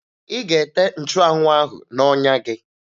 Ị ga-ete nchụanwụ ahụ n'ọnya gị!